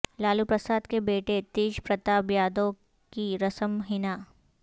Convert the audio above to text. لالو پرساد کے بیٹے تیج پرتاپ یادو کی رسم حنا